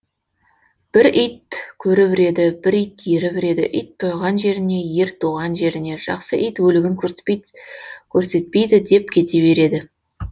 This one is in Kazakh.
бір ит көріп үреді бір ит еріп үреді ит тойған жеріне ер туған жеріне жақсы ит өлігін көрсетпейді деп кете береді